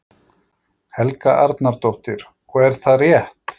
Helga Arnardóttir: Og er það rétt?